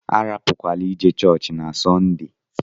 Arapukwala ije chọọchị na Sọnde!